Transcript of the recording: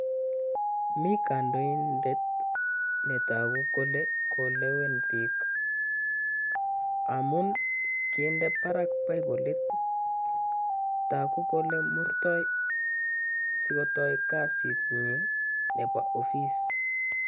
Mi Kandoindet netoku kole kolewen bik amu kinde barak baibolit asikotoi kasinyi Nebo ofis